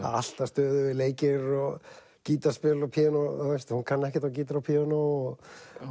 alltaf stöðugir leikir og gítarspil og píanó hún kann ekkert á gítar og píanó